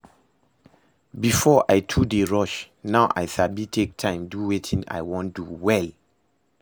Before, I too dey rush, now I sabi take time do wetin I wan do well